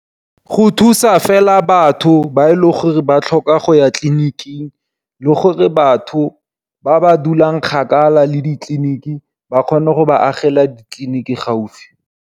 Go thusa fela batho ba e le gore ba tlhoka go ya tlleniking, le gore batho ba ba dulang kgakala le ditleliniki ba kgone go ba agela ditleliniki gaufi.